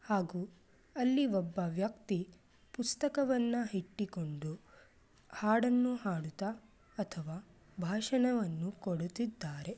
ಹಾಗೂ ಅಲ್ಲಿ ಒಬ್ಬ ವ್ಯಕ್ತಿ ಪುಸ್ತಕವನ್ನು ಇಟ್ಟುಕೊಂಡು ಹಾಡನ್ನು ಹಾಡುತ್ತಾ ಅಥವಾ ಭಾಷಣವನ್ನು ಕೊಡುತ್ತಿದ್ದಾರೆ.